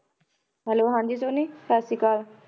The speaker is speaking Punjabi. Hello ਹਾਂਜੀ ਸੋਨੀ ਸਤਿ ਸ੍ਰੀ ਅਕਾਲ